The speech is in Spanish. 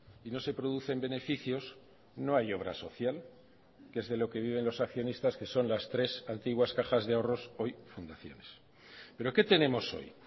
y no se producen beneficios no hay obra social que es de lo que viven los accionistas que son las tres antiguas cajas de ahorros hoy fundaciones pero qué tenemos hoy